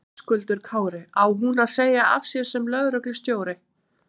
Höskuldur Kári: Á hún að segja af sér sem lögreglustjóri?